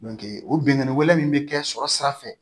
o binganni wale min bɛ kɛ sɔrɔ sira fɛ